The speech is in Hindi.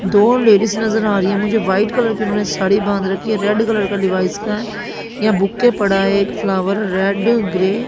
दो लेडीज नजर आ रही है मुझे व्हाइट कलर की इन्होंने साड़ी बांध रखी है रेड कलर लीवाइस यहां बुके पड़ा है एक फ्लॉवर रेड ग्रे --